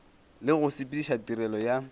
le go sepediša tirelo ya